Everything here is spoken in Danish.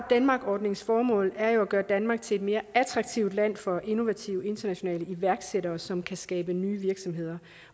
denmark ordningens formål er jo at gøre danmark til et mere attraktivt land for innovative internationale iværksættere som kan skabe nye virksomheder